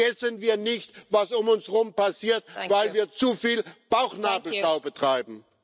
Vergessen wir nicht, was um uns herum passiert, weil wir zu viel Bauchnabelschau betreiben.